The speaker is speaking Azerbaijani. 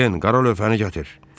Den, qara lövhəni gətir.